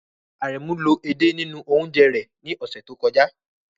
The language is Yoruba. Aremu lo ede nínú oúnjẹ rẹ̀ ní ọ̀sẹ̀ tó kọjá.